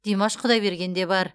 димаш құдайберген де бар